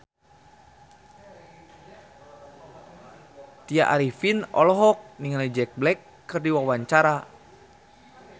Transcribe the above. Tya Arifin olohok ningali Jack Black keur diwawancara